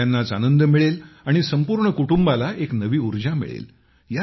सगळ्यांनाच आनंद मिळेल आणि संपूर्ण कुटुंबाला एक नवी ऊर्जा मिळेल